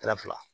fila